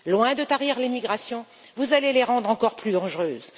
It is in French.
Loin de tarir les migrations, vous allez les rendre encore plus dangereuses.